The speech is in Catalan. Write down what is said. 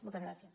moltes gràcies